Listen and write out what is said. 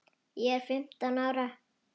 Ég er fimmtán ára.